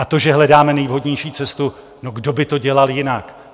A to, že hledáme nejvhodnější cestu - no, kdo by to dělal jinak?